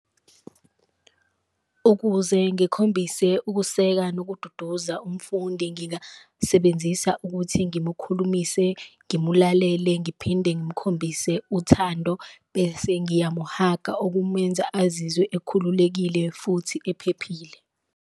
Ukuze ngikhombise ukuseka nokududuza umfundi ngingasebenzisa ukuthi ngimukhulumise, ngimulalele, ngiphinde ngimukhombise uthando, bese ngiyamuhaga. Okumenza azizwe ekhululekile futhi ephephile.